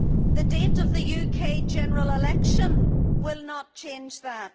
the date of the UK general election will not change that